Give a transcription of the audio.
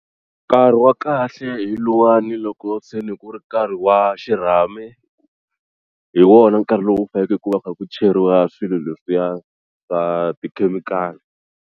Nkarhi wa kahle hi luwani loko se ni ku ri nkarhi wa xirhami hi wona nkarhi lowu faneleke ku va ku kha ku cheriwa swilo leswiya swa tikhemikhali.